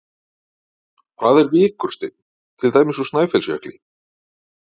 Hvað er vikursteinn, til dæmis úr Snæfellsjökli?